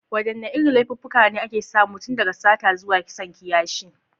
Wadanne irin laifuffuka ne ake samu, tun daga sata zuwa kisan kiyashi?